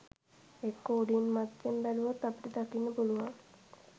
එක්කෝ උඩින් මත්තෙන් බැලුවොත් අපට දකින්න පුළුවන්